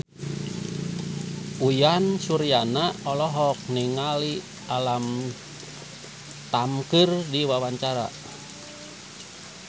Uyan Suryana olohok ningali Alam Tam keur diwawancara